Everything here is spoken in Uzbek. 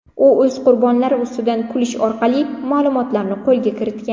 U o‘z qurbonlari ustidan kulish orqali ma’lumotlarni qo‘lga kiritgan.